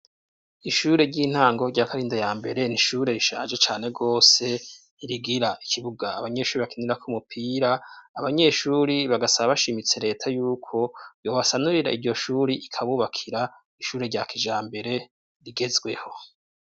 Ishure ry'intango rya Karinda ya mbere, nishure rishaje cane rwose, ntirigira ikibuga abanyeshuri bakenirako umupira, abanyeshuri bagasaba bashimitse Leta yuko yo basanurira iryo shuri ikabubakira ishure rya kijambere rigezweho.